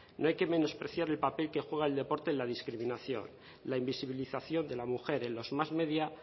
no hay que menospreciar el papel que juega el deporte en la discriminación la invisibilización de la mujer en los más media